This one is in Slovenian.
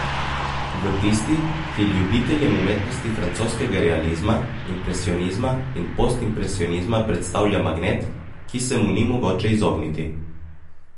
V tisti, ki ljubiteljem umetnosti francoskega realizma, impresionizma in postimpresionizma predstavlja magnet, ki se mu ni mogoče izogniti.